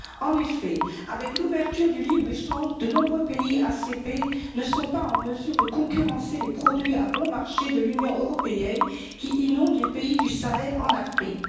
En effet, avec l'ouverture du libre échange, de nombreux pays ACP ne sont pas en mesure de concurrencer les produits à bon marché de l'Union européenne qui inondent les pays du Sahel en Afrique.